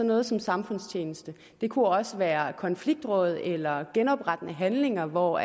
noget som samfundstjeneste det kunne også være konfliktråd eller genoprettende handlinger hvor